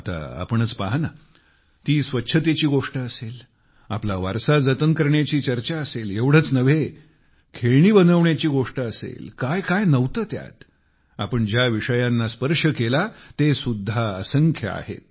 आता तुम्हीच पाहा ना ती स्वच्छतेची गोष्ट असेल आपला वारसा जतन करण्याची चर्चा असेल एवढेच नव्हे तर खेळणी बनविण्याची गोष्ट असेल काय काय नव्हते ह्यात आपण ज्या विषयांना स्पर्श केला आहे तेसुद्धा असंख्य आहेत